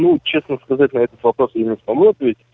ну честно сказать на этот вопрос я не смогу ответить